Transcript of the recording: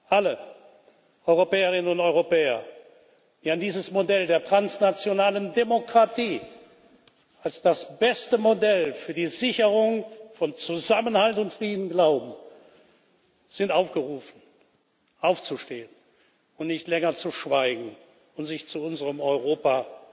Alle Europäerinnen und Europäer, die an dieses Modell der transnationalen Demokratie als das beste Modell für die Sicherung von Zusammenhalt und Frieden glauben, sind aufgerufen, aufzustehen und nicht länger zu schweigen und sich zu unserem Europa